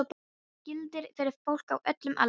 Þetta gildir fyrir fólk á öllum aldri.